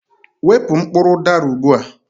Wepu mkpụrụ udara ugbu a!